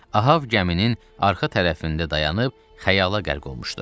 Ahav gəminin arka tərəfində dayanıb xəyala qərq olmuşdu.